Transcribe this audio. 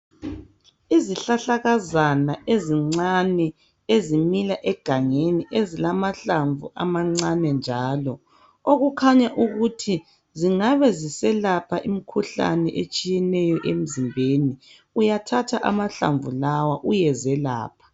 Izihlahlakazana ezincane ezimila egangeni ezilamahlamvu amancane njalo, okukhanya ukuthi zingabe ziselapha imikhuhlane etshiyeneyo emzimbeni. Uyathatha amahlamvu lawa uyezelapha.